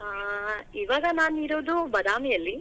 ಆ ಇವಾಗ ನಾನಿರೋದು ಬಾದಾಮಿ ಅಲ್ಲಿ.